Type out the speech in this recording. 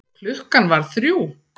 Klukkan varð þrjú.